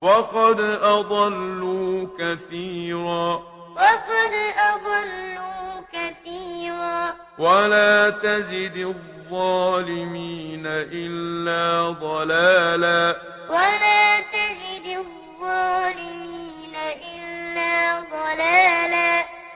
وَقَدْ أَضَلُّوا كَثِيرًا ۖ وَلَا تَزِدِ الظَّالِمِينَ إِلَّا ضَلَالًا وَقَدْ أَضَلُّوا كَثِيرًا ۖ وَلَا تَزِدِ الظَّالِمِينَ إِلَّا ضَلَالًا